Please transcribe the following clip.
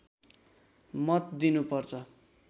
मत दिनु पर्छ